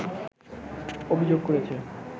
অভিযোগ করেছে